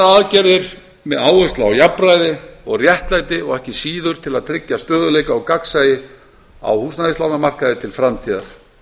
aðgerðir með áherslu á jafnræði og réttlæti og ekki síður til að tryggja stöðugleika og gagnsæi á húsnæðislánamarkaði til framtíðar